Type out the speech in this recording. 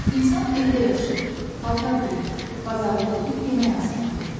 İnsan evdə yaşayır, palto geyinir, bazarlıq edib yemək hazırlayır.